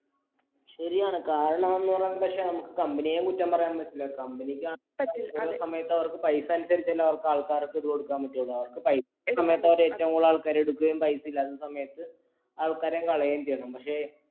ശരിയാണ് കാരണം എന്ന് പറയുന്നത് പക്ഷെ നമുക്ക് company യെയും കുറ്റം പറയാൻ പറ്റില്ല company ക്ക് ഓരോ സമയത്ത് അവർക്ക് പൈസ അനുസരിച്ചല്ലേ അവർക്ക് ആൾക്കാർക്ക് ഇത് കൊടുക്കാൻ പറ്റുള്ളൂ അവർക്ക് പൈ സമയത്ത അവർ ഏറ്റവും കൂടുതൽ ആൾക്കാരെ എടുക്കുകയും പൈസ ഇല്ലാത്ത സമയത്ത് ആൾക്കാരെ കളയും ചെയ്യണം പക്ഷേ